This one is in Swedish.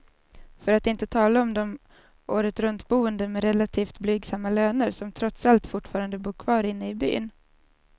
För att inte tala om de åretruntboende med relativt blygsamma löner, som trots allt fortfarande bor kvar inne i byn.